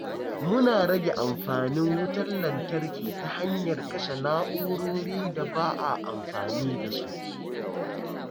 Muna rage amfanin wutar lantarki ta hanyar kashe na’urorin da ba a amfani da su.